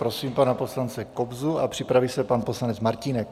Prosím pana poslance Kobzu a připraví se pan poslanec Martínek.